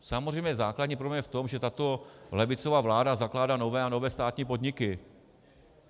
Samozřejmě základní problém je v tom, že tato levicová vláda zakládá nové a nové státní podniky.